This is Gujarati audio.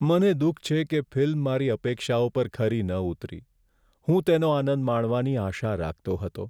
મને દુઃખ છે કે ફિલ્મ મારી અપેક્ષાઓ પર ખરી ન ઉતરી. હું તેનો આનંદ માણવાની આશા રાખતો હતો.